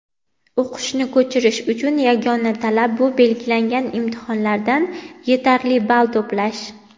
O‘qishni ko‘chirish uchun yagona talab bu belgilangan imtihonlardan yetarli ball to‘plash.